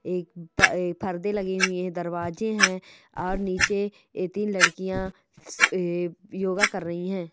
एक पर--पर्दे लगे हुए हैं दरवाजे हैं और नीचे ए तीन लकड़ियाँ अ योगा कर रही है।